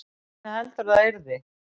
Hvernig heldurðu að það yrði?